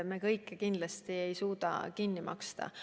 Me kõike kindlasti ei suuda kinni maksta.